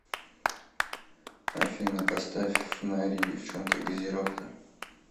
афина поставь фонари девчонка газировка